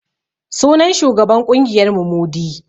Sunan shugaban ƙungiyar mu Mudi